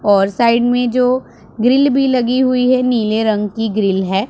और साइड में जो ग्रिल भी लगी हुई है नीले रंग की ग्रिल है।